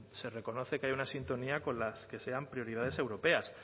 se reconoce que hay una sintonía con las que sean prioridades europeas